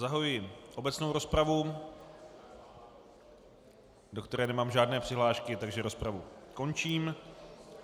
Zahajuji obecnou rozpravu, do které nemám žádné přihlášky, takže rozpravu končím.